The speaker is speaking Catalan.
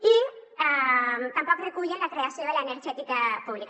i tampoc recullen la creació de l’energètica pública